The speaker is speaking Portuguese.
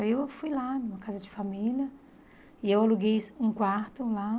Aí eu fui lá, numa casa de família, e eu aluguei um quarto lá.